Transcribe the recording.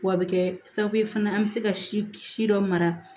W'a be kɛ sababu ye fana an be se ka si si dɔ mara